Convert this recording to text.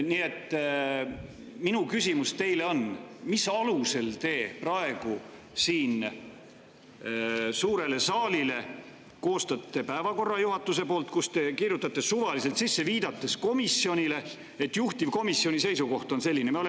Nii et minu küsimus teile on: mille alusel te koostate juhatuses suurele saalile päevakorra, kuhu te kirjutate suvaliselt midagi sisse, viidates, et juhtivkomisjoni seisukoht on selline?